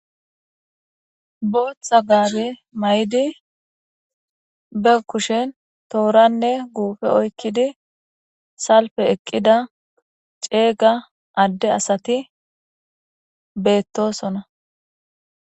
booththa gaabe may7di be kushen tooranne guufe oykkidi salpe eqqida ceega adde asati beettosona